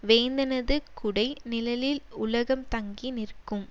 வேந்தனது குடை நிழலில் உலகம் தங்கி நிற்கும்